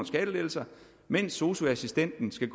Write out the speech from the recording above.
skattelettelser mens sosu assistenten skal